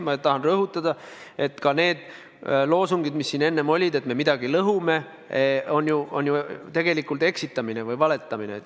Ma tahan rõhutada, et need loosungid, mis siin enne olid, et me midagi lõhume, on ju tegelikult eksitamine või valetamine.